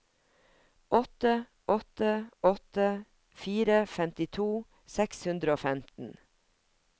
åtte åtte åtte fire femtito seks hundre og femten